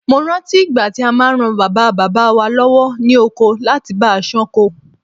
Mo rántí ìgbà tí a máa ran Bàbá bàbá wa lọ́wọ́ ní oko láti bá a ṣán ko.